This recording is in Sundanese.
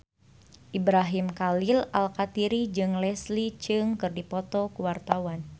Ibrahim Khalil Alkatiri jeung Leslie Cheung keur dipoto ku wartawan